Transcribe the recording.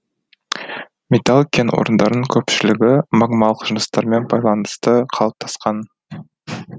металл кен орындарының көпшілігі магмалық жыныстармен байланысты қалыптасқан